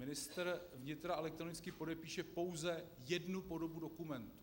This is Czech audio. Ministr vnitra elektronicky podepíše pouze jednu podobu dokumentu.